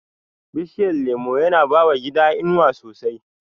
Bishiyar lemo yana bawa gida inuwa sosai